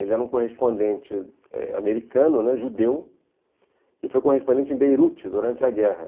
Ele era um correspondente eh americano, judeu, e foi correspondente em Beirute durante a guerra.